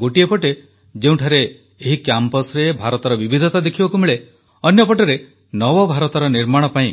ଗୋଟିଏ ପଟେ ଯେଉଁଠାରେ ଏହି କ୍ୟାମ୍ପସରେ ଭାରତର ବିବିଧତା ଦେଖିବାକୁ ମିଳେ ଅନ୍ୟପଟରେ ନବଭାରତର ନିର୍ମାଣ ପାଇଁ